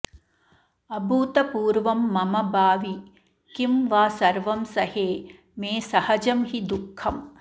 अभूतपूर्वं मम भावि किं वा सर्वं सहे मे सहजं हि दुःखम्